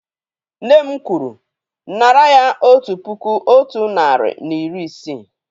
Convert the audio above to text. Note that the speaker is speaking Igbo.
Nne m kwuru, nárà ya otu puku otu narị na iri isii!